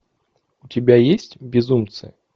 у тебя есть безумцы